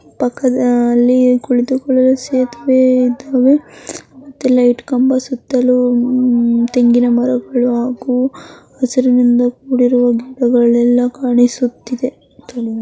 ಪಕ್ಕದಲ್ಲಿ ಕುಳಿತುಕೊಳ್ಳಲು ಸೇತುವೆ ಇದವೆ ಮತ್ತೆ ಲೈಟ್ ಕಂಬ ಸುತ್ತಲು ತೆಂಗಿನ ಮರಗಳು ಹಾಗು ಹಸಿರಿನಿಂದ ಕೂಡಿರುವ ಗಿಡಗಳೆಲ್ಲಾ ಕಾಣಿಸುತ್ತಿದೆ.